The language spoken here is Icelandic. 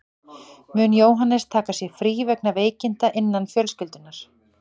Mun Jóhannes taka sér frí vegna veikinda innan fjölskyldunnar.